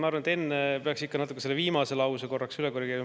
Ma arvan, et enne peaks ikka natuke seda viimast lauset korrigeerima.